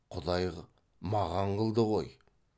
құдай маған қылды ғой